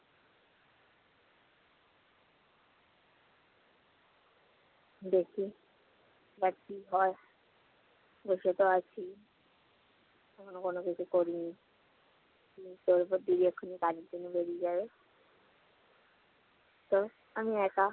দেখি এবার কি হয়। বসেতো আছি, এখনো কোন কিছু করিনি তার ওপর দিদি এখন কাজের জন্য বেরিয়ে যাবে তো আমি একা।